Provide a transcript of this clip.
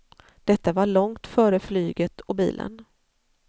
Detta var långt före flyget och bilen.